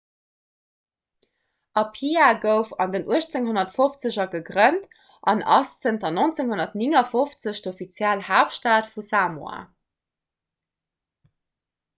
apia gouf an den 1850er gegrënnt an ass zanter 1959 d'offiziell haaptstad vu samoa